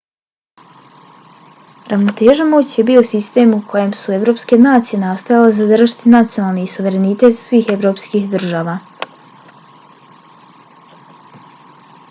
ravnoteža moći je bio sistem u kojem su evropske nacije nastojale zadržati nacionalni suverenitet svih evropskih država